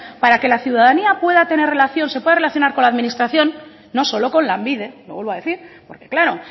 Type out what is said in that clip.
para que la ciudadanía pueda tener relación se pueda relacionar con la administración no solo con lanbide lo vuelvo a decir porque claro